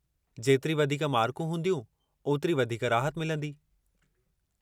जेतिरी वधीक मार्कूं हूंदियूं, ओतिरी वधीक राहत मिलंदी।